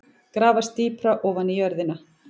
Grafast dýpra ofan í jörðina.